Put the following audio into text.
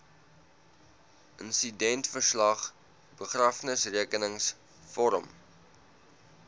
insidentverslag begrafnisrekenings vorm